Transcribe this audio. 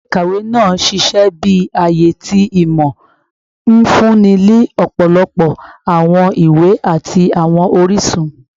Ile-ikawe naa n ṣiṣẹ bi aaye ti imọ, nfunni ni ọpọlọpọ awọn iwe ati awọn orisun